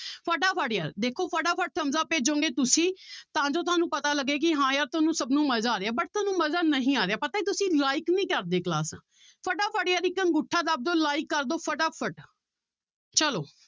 ਫਟਾਫਟ ਯਾਰ ਦੇਖੋ ਫਟਾਫਟ thumbs up ਭੇਜੋਗੇ ਤੁਸੀਂ ਤਾਂ ਜੋ ਤੁਹਾਨੂੰ ਪਤਾ ਲੱਗੇ ਕਿ ਹਾਂ ਯਾਰ ਤੁਹਾਨੂੰ ਸਭ ਨੂੰ ਮਜ਼ਾ ਆ ਰਿਹਾ but ਤੁਹਾਨੂੰ ਮਜ਼ਾ ਨਹੀਂ ਆ ਰਿਹਾ ਪਤਾ ਹੈ ਤੁਸੀਂ like ਨੀ ਕਰਦੇ ਕਲਾਸਾਂ ਫਟਾਫਟ ਯਾਰ ਇੱਕ ਅੰਗੂਠਾ ਦੱਬ ਦਓ like ਕਰ ਦਓ ਫਟਾਫਟ ਚਲੋ।